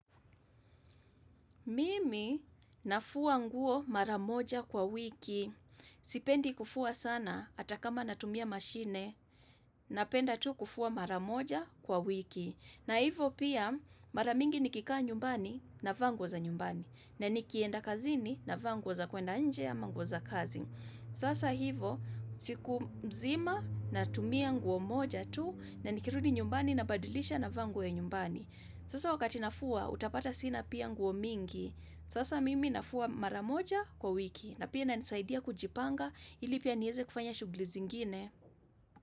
Mimi nafua nguo mara moja kwa wiki, sipendi kufua sana, hata kama natumia mashine, napenda tu kufua mara moja kwa wiki. Na hivo pia, mara mingi nikikaa nyumbani navaa nguo za nyumbani, na nikienda kazini navaa nguo za kwenda nje ama nguo za kazi. Sasa hivo, siku mzima natumia nguo moja tu, na nikirudi nyumbani na badilisha navaa nguo ya nyumbani. Sasa wakati nafua, utapata sina pia nguo mingi. Sasa mimi nafua mara moja kwa wiki na pia inanisaidia kujipanga ili pia nieze kufanya shughuli zingine.